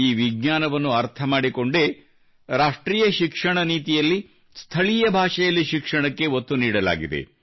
ಈ ವಿಜ್ಞಾನವನ್ನು ಅರ್ಥ ಮಾಡಿಕೊಂಡೇ ರಾಷ್ಟ್ರೀಯ ಶಿಕ್ಷಣ ನೀತಿಯಲ್ಲಿ ಸ್ಥಳೀಯ ಭಾಷೆಯಲ್ಲಿ ಶಿಕ್ಷಣಕ್ಕೆ ಒತ್ತು ನೀಡಲಾಗಿದೆ